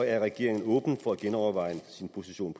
er regeringen åben for at genoverveje sin position